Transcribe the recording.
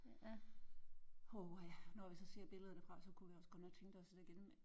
Oh ha når vi så ser billeder derfra så kunne vi også godt tænke os det igen